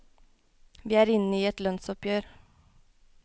Vi er inne i et lønnsoppgjer.